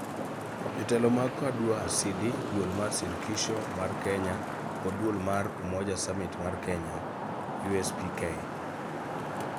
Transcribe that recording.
jotelo mag Kadu Asili, Duol mar Shirikisho mar Kenya kod Duol mar Umoja Summit mar Kenya (USPK)